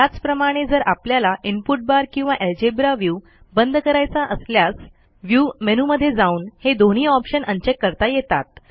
त्याचप्रमाणे जर आपल्याला इनपुट बार किंवा अल्जेब्रा व्ह्यू बंद करायचा असल्यास व्ह्यू मेनूमध्ये जाऊन हे दोन्ही ऑप्शन अनचेक करता येतात